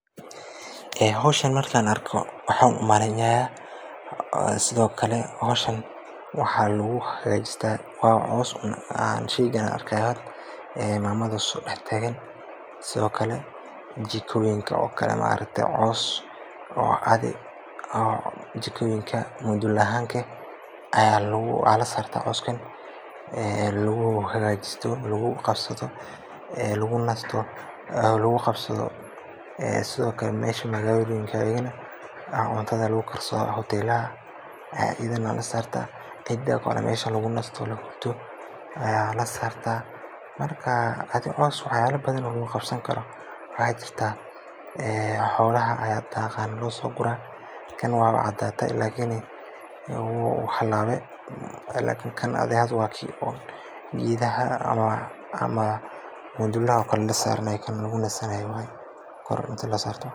Ee howshan Markan arko waxan umaraya sidhokale howshan waxan lagu hagajista wa cows qsheygan an arki haya ee mamadha sodax tagaan sidhokale jikoyinka okale maaragti cows oo caadhi oo jikoyinka mudul ahaanta eh aya lasarta cowskan aya laguhagajista oo laguqabsadho ee lagunasta laguqabsadho ee sidhokale mesha magaladha lagalayana cuntadha lagu karsadha hotelaha ee ayidhana lasarta ee cida mesha lagunasta ee lahurda aya lasarta marka adhi cows wax yala badhan aya laguqabsani karo aya jirta ee xolaha aya daaqan aya losogura Kan wa cadada lakini oo wax halabi lakin Kan adhiga wa kii oo gedhaha ama mudulaha okale lasaranay kan lagunasanay waye kor inta lasarta.